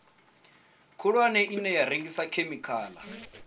khulwane ine ya rengisa khemikhala